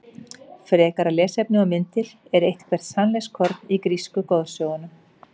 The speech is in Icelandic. Frekara lesefni og myndir Er eitthvert sannleikskorn í grísku goðsögunum?